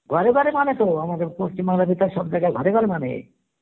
ঘরে ঘরে মানে তো আমাদের পশ্চিম বাংলার সব যায় গাই ঘরে ঘরে মানে